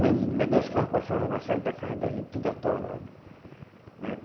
Lama, aí dois carro passava na da casa da gente, tudo atolado. Mas é